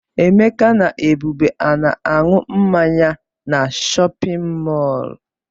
Emeka na Ebube a na-aṅụ mmanya na chọpịn mọọlụ?